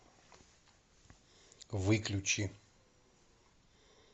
выключи